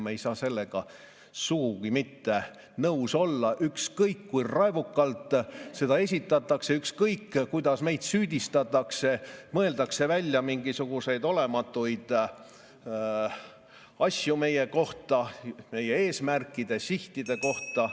Me ei saa sellega sugugi nõus olla, ükskõik kui raevukalt seda esitatakse, ükskõik kuidas meid süüdistatakse, mõeldes välja mingisuguseid olematuid asju meie kohta, meie eesmärkide, sihtide kohta ...